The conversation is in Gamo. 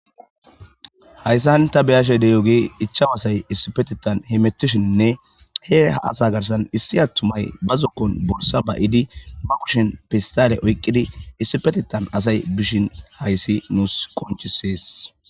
hayssan ta beyashey deyoge ichawasay issipetitan hemetishinne he a asa garsan issi attumay ba zokkon bursa ba idi ba kushin pistale oyqqidi issipetitan asay bishin hayssi nuus qonchisees